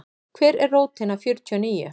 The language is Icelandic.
Hver er rótin af fjörtíu og níu?